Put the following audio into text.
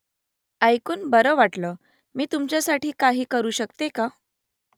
ऐकून बरं वाटलं . मी तुमच्यासाठी काही करू शकते का ?